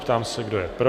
Ptám se, kdo je pro?